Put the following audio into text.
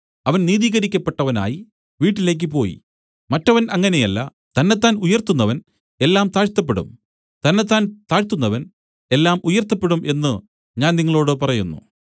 അവൻ നീതീകരിക്കപ്പെട്ടവനായി വീട്ടിലേക്ക് പോയി മറ്റവൻ അങ്ങനെയല്ല തന്നെത്താൻ ഉയർത്തുന്നവൻ എല്ലാം താഴ്ത്തപ്പെടും തന്നെത്താൻ താഴ്ത്തുന്നവൻ എല്ലാം ഉയർത്തപ്പെടും എന്നു ഞാൻ നിങ്ങളോടു പറയുന്നു